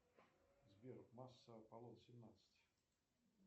сбер масса аполлон семнадцать